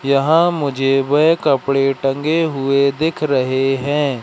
यहां मुझे वह कपड़े टंगे हुए दिख रहे हैं।